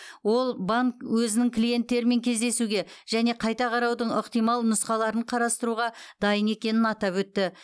ол банк өзінің клиенттерімен кездесуге және қайта қараудың ықтимал нұсқаларын қарастыруға дайын екенін атап өтті